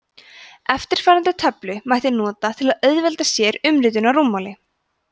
eftirfarandi töflu mætti nota til að auðvelda sér umritun á rúmmáli